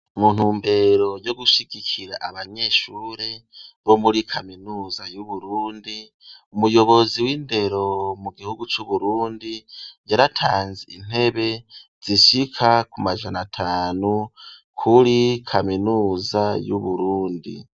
Mu ntumbero yo gushigikira abanyeshure bo muri kaminuza y'uburundi umuyobozi w'indero mu gihugu c'uburundi yaratanze intebe zishaka ku majana atanu kuri kaminuza y'uburundi.